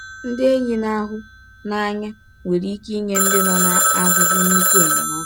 Ndị enyi na-ahụ n’anya nwere ike inye ndị nọ n’ahụhụ nnukwu enyemaka.